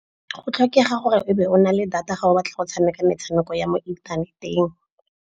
Go tlhokega gore o be o na le data ga o batla go tshameka metshameko ya mo inthaneteng.